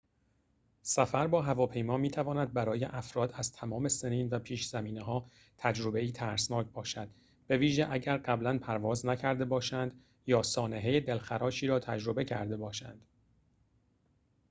سفر با هواپیما می‌تواند برای افراد از تمام سنین و پیش‌زمینه‌ها تجربه‌ای ترسناک باشد بویژه اگر قبلاً پرواز نکرده باشند یا سانحه دلخراشی را تجربه کرده باشند